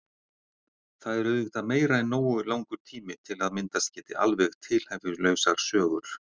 Það er auðvitað meira en nógu langur tími til að myndast geti alveg tilhæfulausar sögur.